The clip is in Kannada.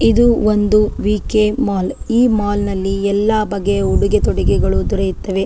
ಇದು ಒಂದು ವಿ.ಕೆ ಮಾಲ್ ಈ ಮಾಲ್ ನಲ್ಲಿ ಎಲ್ಲಾ ಬಗೆಯ ಉಡುಗೆ ತೊಡುಗೆಗಳು ದೊರೆಯುತ್ತವೆ.